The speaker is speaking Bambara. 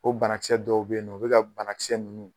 O banakisɛ dɔw be yen nɔ u bi ka banakisɛ nunnu